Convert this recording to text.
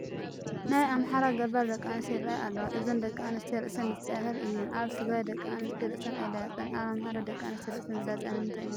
ናይ ኣምሓራ ገባር ደቂ ኣንስትዮ ይርአያ ኣለዋ፡፡ እዘን ደቂ ኣንስትዮ ርእሰን ልፃያታት እየን፡፡ ኣብ ትግራይ ደቂ ኣንስትዮ ርእሰን ኣይላፀያን፡፡ ኣብ ኣምሓራ ደቂ ኣንስትዮ ርእሰን ዝላፀያ ንምንታይ እዩ?